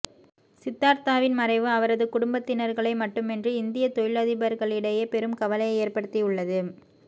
சித்தார்த்தாவின் மறைவு அவரது குடும்பத்தினர்களை மட்டுமின்றி இந்திய தொழிலதிபர்களிடையே பெரும் கவலையை ஏற்படுத்தியுள்ளது